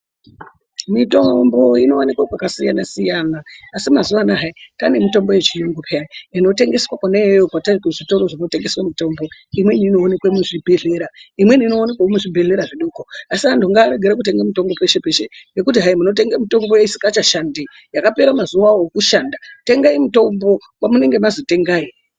Mitombo inowanike kwakasiyana siyana asi mazuwa anaa hayi kwaane mitombo yechiyungu peyani inotengeswa kwona iyoyo kuzvitoro zvinotengese mitombo. Imweni inoonekwa muzvibhedhlera. Imweni inoonekwa muzvibhedhlera zvidoko asi antu ngaarege kutenga mitombo peshe peshe ngekuti munotenge mitombo isingachashandi hayi yakapera mazuwa ayo ekushanda. Tengai mitombo kwamunenge manzi tengai.